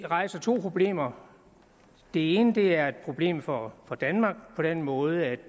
rejser to problemer det ene er et problem for danmark på den måde at